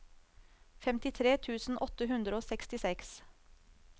femtitre tusen åtte hundre og sekstiseks